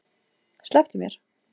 Slepptu mér!